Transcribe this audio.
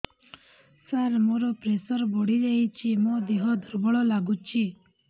ସାର ମୋର ପ୍ରେସର ବଢ଼ିଯାଇଛି ମୋ ଦିହ ଦୁର୍ବଳ ଲାଗୁଚି